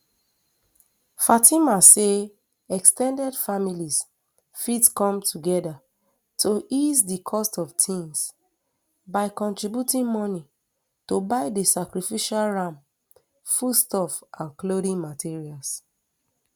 fatima say ex ten ded families fit come togeda to ease di cost of tings by contributing moni to buy di sacrificial ram foodstuffs and clothing materials